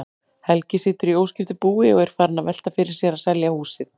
Helgi situr í óskiptu búi og er farinn að velta fyrir sér að selja húsið.